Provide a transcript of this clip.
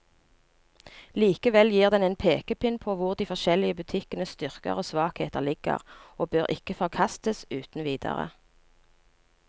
Likevel gir den en pekepinn på hvor de forskjellige butikkenes styrker og svakheter ligger, og bør ikke forkastes uten videre.